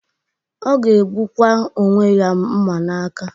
O ga-egbukwa onwe ya mma n'aka.